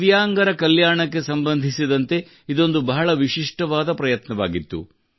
ದಿವ್ಯಾಂಗರ ಕಲ್ಯಾಣಕ್ಕೆ ಸಂಬಂಧಿಸಿದಂತೆ ಇದೊಂದು ಬಹಳ ವಿಶಿಷ್ಟವಾದ ಪ್ರಯತ್ನವಾಗಿತ್ತು